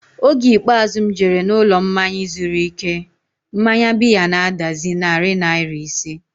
Oge ikpeazụ m jere n'ụlọmmanya izuru ike, mmanya biya na-adazi narị naira ise